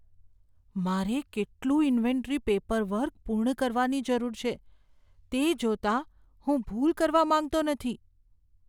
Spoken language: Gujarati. મારે કેટલું ઇન્વેન્ટરી પેપરવર્ક પૂર્ણ કરવાની જરૂર છે તે જોતાં, હું ભૂલ કરવા માંગતો નથી